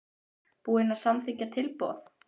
Búinn að samþykkja tilboð?